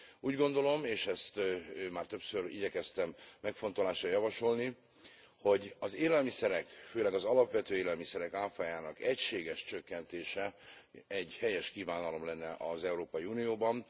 Úgy gondolom, és ezt már többször igyekeztem megfontolásra javasolni, hogy az élelmiszerek főleg az alapvető élelmiszerek áfájának egységes csökkentése egy helyes kívánalom lenne az Európai Unióban.